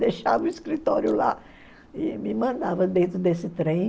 Deixava o escritório lá e me mandava dentro desse trem.